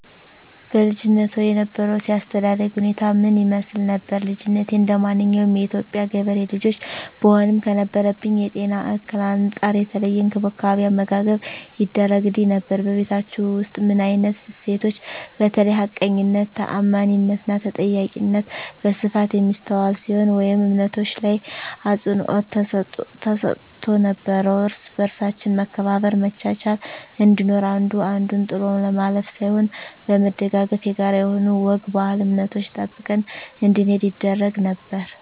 በልጅነትዎ የነበሮት የአስተዳደግ ሁኔታ ምን ይመስል ነበር? ልጅነቴ እንደማንኛውም የኢትዮጵያ ገበሬ ልጆች ብሆንም ከነበረብኝ የጤና እክል አንፃር የተለየ እንክብካቤ አመጋገብ ይደረግግልኝ ነበር በቤታቹ ውስጥ ምን አይነት እሴቶች በተለይ ሀቀኝነት ታአማኒትና ተጠያቂነት በስፋት የሚስተዋል ሲሆን ወይም እምነቶች ላይ አፅንዖት ተሰጥቶ ነበረው እርስ በርሳችን መከባበር መቻቻል እንዲኖር አንዱ አንዱን ጥሎ ለማለፍ ሳይሆን በመደጋገፍ የጋራ የሆኑ ወግ ባህል እምነቶችን ጠብቀን እንድንሄድ ይደረግ ነበር